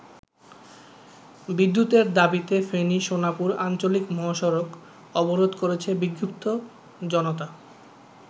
বিদ্যুতের দাবিতে ফেনী-সোনাপুর আঞ্চলিক মহসড়ক অবরোধ করেছে বিক্ষুদ্ধ জনতা।